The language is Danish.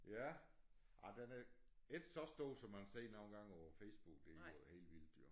Ja ej den er ikke så stor som man ser nogle gange på Facebook det er jo helt vildt jo